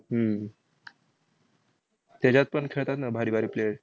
हम्म त्याच्यात पण खेळतात ना भारी भारी player